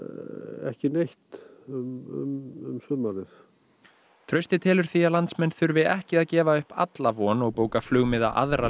ekki neitt um sumarið trausti telur því að landsmenn þurfi ekki að gefa upp alla von og bóka flugmiða aðra leið